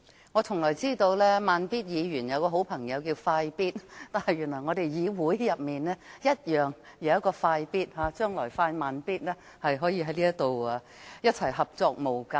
我只知道"慢咇"議員有位好朋友叫"快咇"，但原來議會也有一位"快咇"，將來"快、慢咇"便可在議會合作無間。